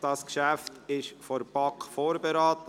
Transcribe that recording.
Dieses Geschäft wurde von der BaK vorberaten.